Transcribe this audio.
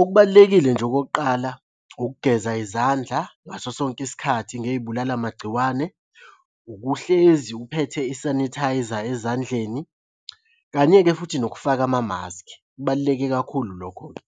Okubalulekile nje okokuqala, ukugeza izandla ngaso sonke isikhathi ngey'bulala magciwane. Ukuhlezi uphethe i-sanitiser ezandleni, kanye-ke futhi nokufaka amamaskhi. Kubaluleke kakhulu lokho-ke